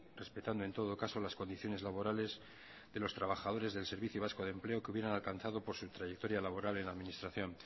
respetando en todo caso las condiciones laborales de los trabajadores del servicio vasco de empleo que hubieran alcanzado por su trayectoria laboral en la administración